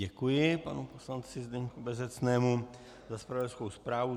Děkuji panu poslanci Zdeňku Bezecnému za zpravodajskou zprávu.